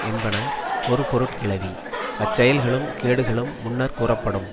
என்பன ஒருபொருட்கிளவி அச்செயல்களும் கேடுகளும் முன்னர்க் கூறப்படும்